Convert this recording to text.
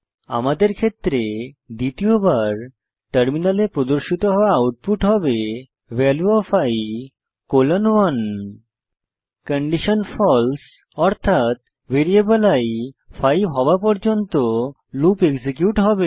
আমাদের ক্ষেত্রে দ্বিতীয়বার টার্মিনালে প্রদর্শিত হওয়া আউটপুট হবে value of i colon 1 condition false অর্থাত ভ্যারিয়েবল i 5 হওয়া পর্যন্ত লুপ এক্সিকিউট হবে